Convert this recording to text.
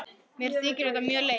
Mér þykir þetta mjög leitt.